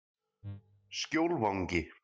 Skjólvangi